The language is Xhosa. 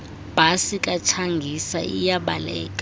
bhasi katshangisa iyabaleka